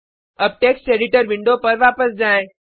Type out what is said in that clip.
अब text editor window पर वापस जाएँ